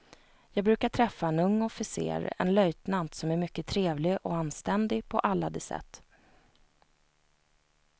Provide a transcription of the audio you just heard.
Jag brukar träffa en ung officer, en löjtnant som är mycket trevlig och anständig på alla de sätt.